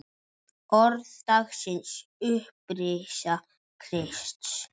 Orð dagsins Upprisa Krists